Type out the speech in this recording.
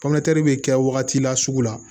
bɛ kɛ wagati la sugu la